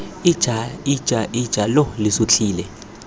ija ija ija lo sutlhile